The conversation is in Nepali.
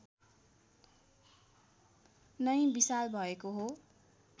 नै विशाल भएको हो